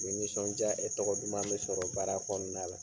Ni nisɔndiya e tɔgɔ duman bɛ sɔrɔ baara kɔnɔna la.